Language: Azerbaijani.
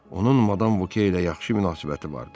Onun madam Voke ilə yaxşı münasibəti vardı.